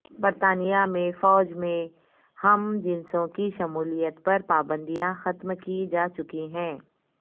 برطانیہ میں فوج میں ہم جنسوں کی شمولیت پر پابندیاں ختم کی جا چکی ہیں